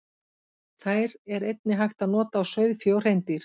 Þær er einnig hægt að nota á sauðfé og hreindýr.